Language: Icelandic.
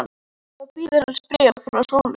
Þá bíður hans bréf frá Sólu.